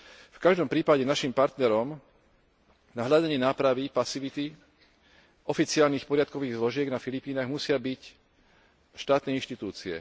V každom prípade naším partnerom na hľadanie nápravy pasivity oficiálnych poriadkových zložiek na Filipínach musia byť štátne inštitúcie.